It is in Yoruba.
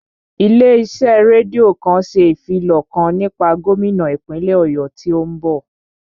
Ilé iṣẹ́ rédíò kan ṣe ìfilọ̀ kan nípa gómínà ìpínlè Ọ̀yọ́ tí ó ń bọ̀